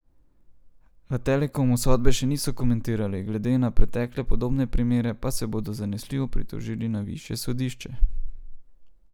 V Telekomu sodbe še niso komentirali, glede na pretekle podobne primere pa se bodo zanesljivo pritožili na višje sodišče.